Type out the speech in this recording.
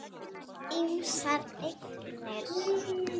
Ýmsar eignir.